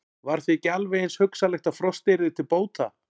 Var því ekki alveg eins hugsanlegt að frostið yrði til bóta?